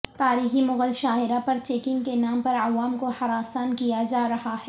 تاریخی مغل شاہراہ پر چیکنگ کے نام پر عوام کو ہراساںکیاجارہاہے